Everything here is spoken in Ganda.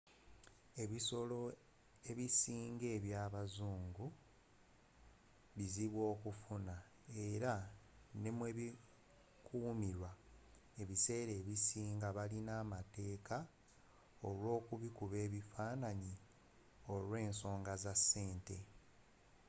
ebisolo ebisinga eby'abazungu bizibu okufuna era ne mw'ebikumirwa ebisera ebisinga balina amateeka olw'okubikuba bifaananyi olw'ensonga za ssente